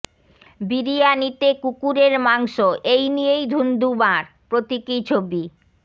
বিরিয়ানিতে কুকুরের মাংস এই নিয়েই ধুন্দুমার প্রতীকী ছবি